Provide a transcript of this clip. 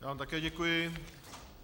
Já vám také děkuji.